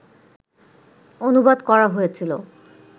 অনুবাদ করা হয়েছিল